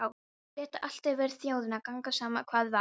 Létu allt yfir þjóðina ganga, sama hvað var.